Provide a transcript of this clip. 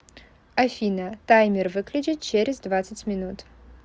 афина таймер выключить через двадцать минут